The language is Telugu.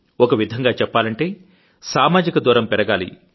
ఒకవిధంగా చెప్పాలంటే సామాజిక దూరం పెరగాలి